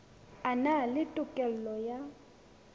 a na le tokelo ya